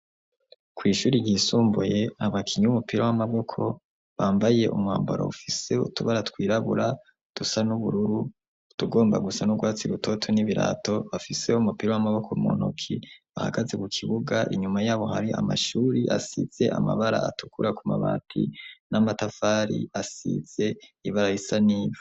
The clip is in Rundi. Kw'ishuri ryisumbuye abakinya umupira w'amaboko bambaye umwambaro ufise utubara twirabura dusa n'ubururu tugomba gusa n'ubwatsi ibutoto n'ibirato bafiseho umupira w'amaboko muntuki bahagaze ku kibuga inyuma yabo hari amashuri asize amabara atukura ku mabati n'amatafari asize ibara risa nibi.